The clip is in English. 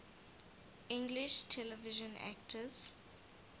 english television actors